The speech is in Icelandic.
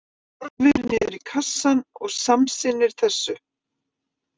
Hann horfir niður í kassann og samsinnir þessu.